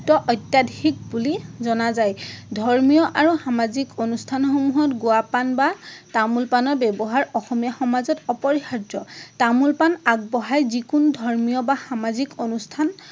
অত্যাধিক বুলি জনা যায়। ধৰ্মীয় আৰু সামাজিক অনুষ্ঠানসমূহত গুৱা পাণ বা তামোল পাণৰ ব্যৱহাৰ অসমীয়া সমাজত অপৰিহাৰ্য। তামোল পাণ আগবঢ়াই যিকোনো ধৰ্ম বা সামাজিক অনুষ্ঠান